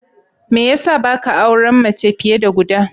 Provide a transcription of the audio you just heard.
Me ya sa ba ka auren mace fiye da guda?